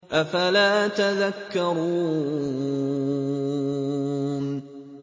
أَفَلَا تَذَكَّرُونَ